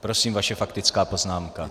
Prosím, vaše faktická poznámka.